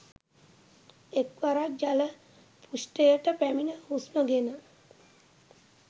එක් වරක් ජල පෘෂ්ඨයට පැමිණ හුස්ම ගෙන